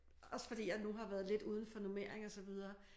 Også fordi jeg nu har været lidt udenfor normering og så videre